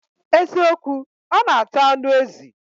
Eziokwu, o n ata anu ezi